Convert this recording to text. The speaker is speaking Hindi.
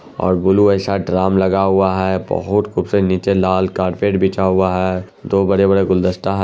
और बुलु जैसा दरम लगा हुआ है बहुत निचे लाल कार्पेट बिछा हुआ है। दो बड़े-बड़े गुलदस्ता हा--